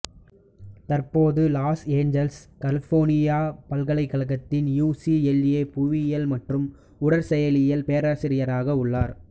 தற்போது Los Angeles California பல்கலைக்கழகத்தில் யுசிஎலஏபுவியியல் மற்றும் உடற்செயலியல் பேராசிரியராக உள்ளார்